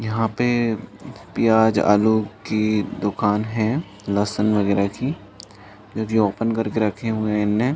यहाँ पे पिआज आलो की दुकान है लहसन वगेरा की जो की ओपन करके रखे हुए है इन्होने --